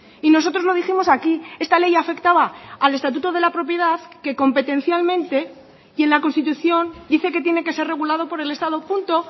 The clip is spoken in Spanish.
y nosotros lo dijimos aquí esta ley afectaba al estatuto de la propiedad que competencialmente y en la constitución dice que tiene que ser regulado por el estado punto